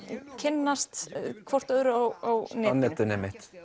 kynnast hvort öðru á netinu